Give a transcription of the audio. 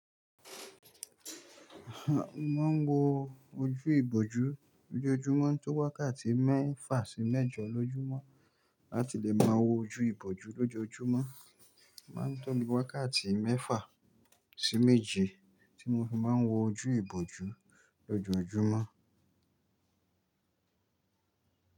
Mo máa ń wo ojú ìbòjú lójoojúmọ́ tó wákàtí mẹ́fà sí mẹ́jọ lójúmọ́. Láti lè máa wo ojú ìbòjú lójoojúmọ́, a máa ń tóbi wákàtí mẹ́fà sí méje tí mo fi máa ń wo ojú ìbòjú lójoojúmọ́.